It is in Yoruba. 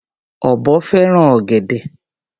Ọ̀bọ fẹ́ràn ọ̀gẹ̀dẹ̀.